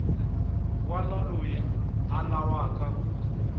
wana loyi a lavaku ku